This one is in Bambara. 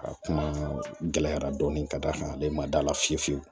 A kuma gɛlɛyara dɔɔni ka d'a kan ale ma da la fiyewu